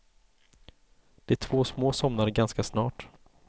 De två små somnade ganska snart.